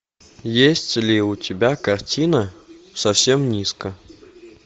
есть ли у тебя картина совсем низко